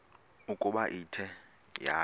ukuba ithe yaya